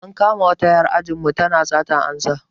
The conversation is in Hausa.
An kama wata 'yar anjinmu tana satar amsa.